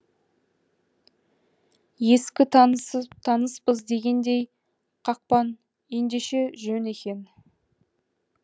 ескі таныспыз дегендей қақпан ендеше жөн екен